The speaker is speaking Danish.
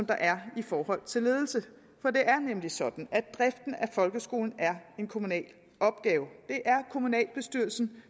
der er i forhold til ledelse for det er nemlig sådan at driften af folkeskolen er en kommunal opgave det er kommunalbestyrelsen